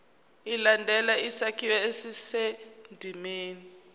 ilandele isakhiwo esisendimeni